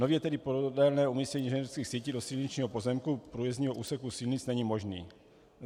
Nově tedy podélné umístění inženýrských sítí do silničního pozemku průjezdního úseku silnic není možné.